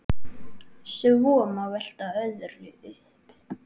Svo má velta öðru upp.